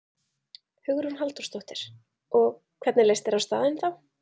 Hugrún Halldórsdóttir: Og, hvernig leist þér á staðinn þá?